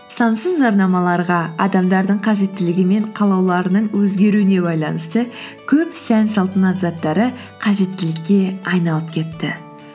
сансыз жарнамаларға адамдардың қажеттілігі мен қалауларының өзгеруіне байланысты көп сән салтанат заттары қажеттілікке айналып кетті